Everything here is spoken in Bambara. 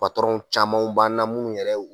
w camanw b'an na munnu yɛrɛw